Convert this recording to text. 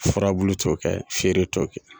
Furabulu t'o kɛ, fieere t' o kɛ.